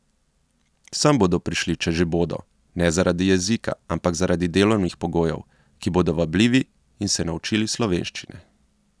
Sem bodo prišli, če že bodo, ne zaradi jezika, ampak zaradi delovnih pogojev, ki bodo vabljivi, in se naučili slovenščine.